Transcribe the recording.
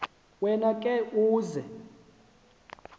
wena ke uza